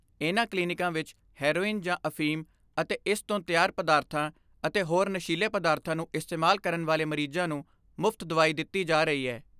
ਇਨ੍ਹਾਂ ਕਲੀਨਿਕਾਂ ਵਿੱਚ ਹੈਰੋਈਨ ਜਾਂ ਅਫੀਮ ਅਤੇ ਇਸ ਤੋਂ ਤਿਆਰ ਪਦਾਰਥਾਂ ਅਤੇ ਹੋਰ ਨਸ਼ੀਲੇ ਪਦਾਰਥਾਂ ਨੂੰ ਇਸਤੇਮਾਲ ਕਰਨ ਵਾਲੇ ਮਰੀਜ਼ਾਂ ਨੂੰ ਮੁਫਤ ਦਵਾਈ ਦਿੱਤੀ ਜਾ ਰਹੀ ਹੈ